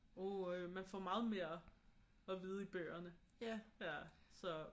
Åh øh man får meget mere at vide i bøgerne så